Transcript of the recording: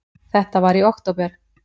Þetta var í október.